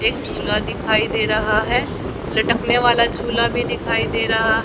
एक झूला दिखाई दे रहा है लटकने वाला झूला भी दिखाई दे रहा--